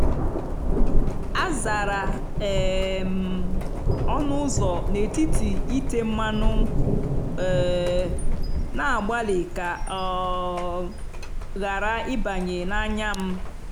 azara um m ọnụ ụzọ n’etiti ite mmanụ um na-agbalị ka ọ um ghara ịbanye n’anya m."